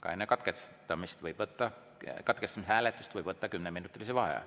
Ka enne katkestamise hääletust võib võtta kümneminutilise vaheaja.